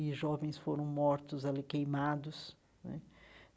E jovens foram mortos ali, queimados né.